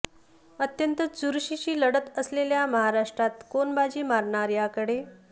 अत्यंत चुरशीची लढत असलेल्या महाराष्ट्रात कोण बाजी मारणार याकडे